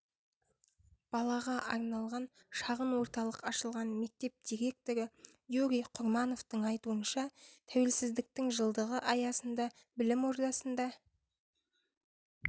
балаға арналған шағын орталық ашылған мектеп директоры юрий құрмановтың айтуынша тәуелсіздіктің жылдығы аясында білім ордасында